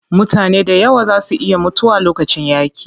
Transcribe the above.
Mutane dayawa zaa su iya mutuwa lokacin yaaƙi.